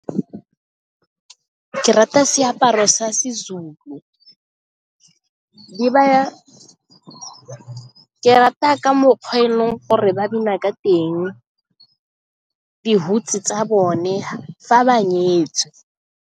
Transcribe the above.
Ke rata seaparo sa Sezulu, ke rata ka mokgwa e leng gore ba bina ka teng dihutshe tsa bone fa ba nyetswe.